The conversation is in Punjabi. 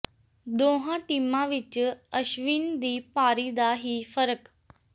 ਦੋਹਾਂ ਟੀਮਾਂ ਵਿਚ ਅਸ਼ਵਿਨ ਦੀ ਪਾਰੀ ਦਾ ਹੀ ਫਰਕ